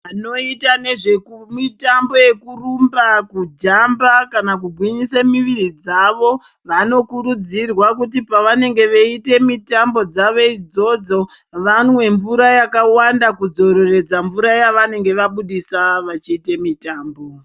Vanoita nezvemitambo yekurumba, kujamba kana kugwinyisa miviri dzavo vanokurudzirwa kuti pavenenge veiite mitambo dzavo idzodzo vanwe mvura yakawanda kudzoreredza mvura yavanenge vabudisa vachiite mitambo.